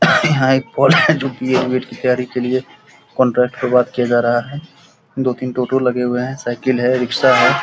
यहाँ एक पोल है जो बी.एड. उएड की तैयारी के लिए कॉन्ट्रैक्ट पर बात किया जा रहा है दो तीन टोटो लगे हुए हैं साइकिल है रिक्सा है।